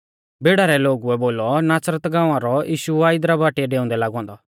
भीड़ा रै लोगुऐ बोलौ नासरत गाँवा रौ यीशु आ इदरा बाटीऐ डेउंदै लागौ औन्दौ